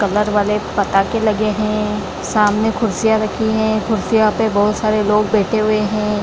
Colour वाले पताके लगे हैं सामने कुर्सीयाँ रखी हैं कुर्सियां पे बहुत सारे लोग बैठे हुए हैं।